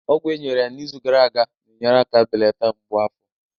Ọgwụ e nyere ya n'izu gara aga na-enyere aka belata mgbu afọ